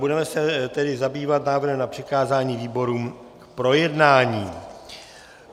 Budeme se tedy zabývat návrhem na přikázání výborům k projednání.